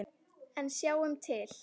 En sjáum til.